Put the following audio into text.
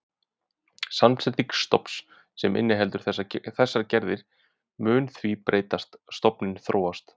Samsetning stofns sem inniheldur þessar gerðir mun því breytast, stofninn þróast.